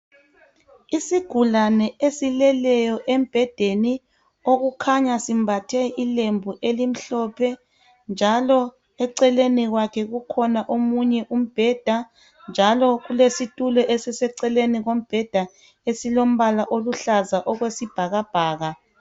isigulane esileleyo embhedeni okukhanya simbathe ilembu elimhlophe njalo eceleni kwakhe kukhona omunye umbheda njalo kulesitulo esiseceleni kombheda esilombala oluhlaza okwesibhakbhaka